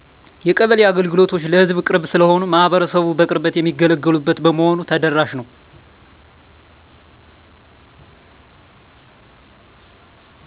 የቀበሌ አገልግሎቶች ለሕዝብ ቅርብ ስለሆኑ ማህበረሰቡ በቅርበት የሚገለገሉበት በመሆኑ ተደራሽ ነው።